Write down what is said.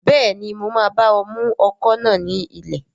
Bẹ́ẹ̀ni, mo máa bá ọ mú ọkọ̀ náà ní ilẹ̀